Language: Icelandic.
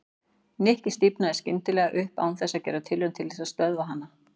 Nikki stífnaði skyndilega upp án þess að gera tilraun til þess að stöðva hana.